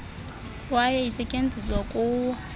kwaye isetyenziswa kuwo